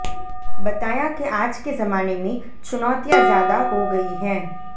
बताया के आज के जमाने मे चुनोतियाँ ज्यादा हो गयी है